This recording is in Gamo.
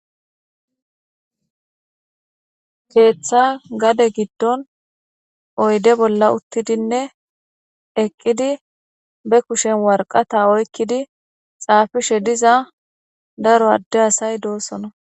Keeththa gade giddon oyde bolla uttidinne eqqidi be kushen warqata oykkidi xaafishe diza daro adde asay doossona